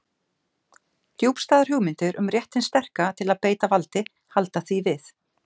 Djúpstæðar hugmyndir um rétt hins sterka til að beita valdi halda því við.